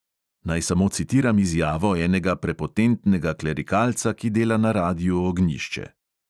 Naj samo citiram izjavo enega prepotentnega klerikalca, ki dela na radiu ognjišče.